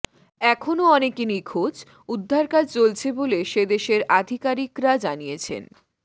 এখনও অনেকে নিখোঁজ উদ্ধারকাজ চলছে বলে সেদেশের আধিকারিকরা জানিয়েছেন